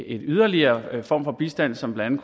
en yderligere form for bistand som blandt